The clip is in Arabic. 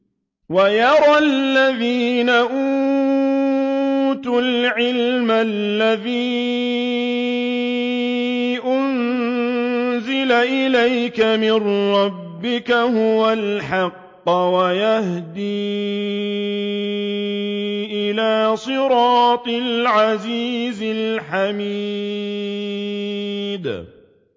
وَيَرَى الَّذِينَ أُوتُوا الْعِلْمَ الَّذِي أُنزِلَ إِلَيْكَ مِن رَّبِّكَ هُوَ الْحَقَّ وَيَهْدِي إِلَىٰ صِرَاطِ الْعَزِيزِ الْحَمِيدِ